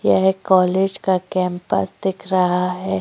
यह एक कॉलेज का कैम्पस दिख रहा हैं।